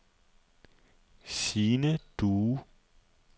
Sine Due